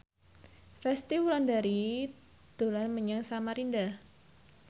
Resty Wulandari dolan menyang Samarinda